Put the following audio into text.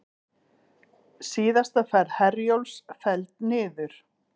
Síðasta ferð Herjólfs felld niður